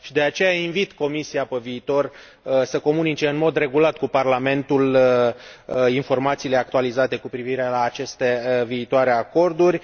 De aceea, invit Comisia pe viitor să comunice în mod regulat Parlamentului informațiile actualizate cu privire la aceste viitoare acorduri.